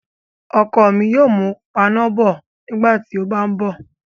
ọkọ mi yóò mú pana bọ̀ nígbàtí ó bá ń bọ̀.